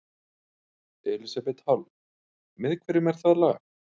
Elísabet Hall: Með hverjum er það lag?